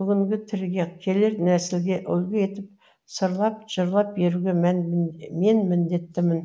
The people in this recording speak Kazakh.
бүгінгі тіріге келер нәсілге үлгі етіп сырлап жырлап беруге мен міндеттімін